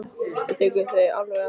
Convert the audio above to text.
Þú tekur þau alveg að þér.